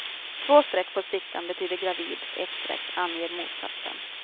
Två streck på stickan betyder gravid, ett streck anger motsatsen.